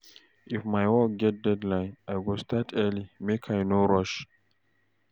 If my work get deadline, I go start early make I no rush.